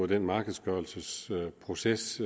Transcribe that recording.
den markedsgørelsesproces